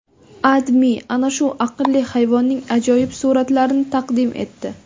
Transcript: AdMe ana shu aqlli hayvonning ajoyib suratlarini taqdim etdi .